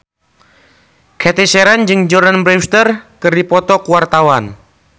Cathy Sharon jeung Jordana Brewster keur dipoto ku wartawan